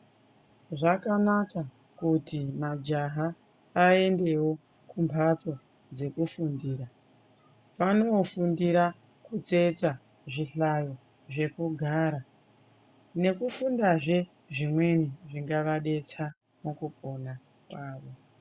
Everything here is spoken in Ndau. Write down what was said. Zvakanaka kuti majaha aendewo kumhatso dzekufundira vanofundira kutsetsa zvihlayo zvekugara nekufundazve zvimweni zvingavadetsa mukupona kwavo.